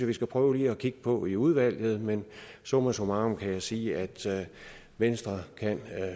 vi skal prøve at kigge på i udvalget men summa summarum kan jeg sige at venstre kan